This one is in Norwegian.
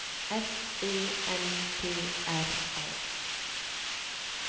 S E N T R A